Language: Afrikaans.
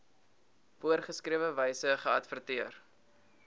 voorgeskrewe wyse geadverteer